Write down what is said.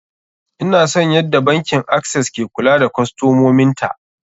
Ina son yadda bankin access ke kula da kostomomin ta.